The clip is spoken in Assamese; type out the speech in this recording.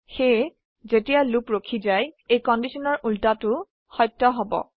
সেয়ে যেতিয়া লুপ ৰখি যায় এই কন্ডিশনৰ উল্টোটো সত্য হব